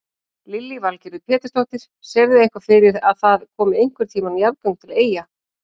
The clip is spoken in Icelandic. Lillý Valgerður Pétursdóttir: Sérðu eitthvað fyrir að það komi einhvern tíman jarðgöng til Eyja?